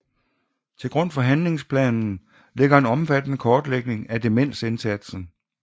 Til grund for handlingsplanen ligger en omfattende kortlægning af demensindsatsen